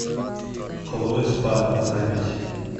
алоэ спа запись